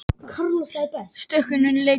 Stöðugleiki í efnahagslífinu